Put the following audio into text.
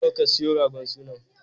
Nawa ka siyo ragon sunan?